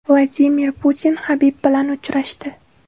Vladimir Putin Habib bilan uchrashdi.